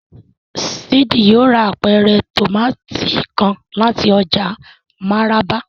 Sid yóò rà apẹrẹ tomati kàn láti ọjà Maraba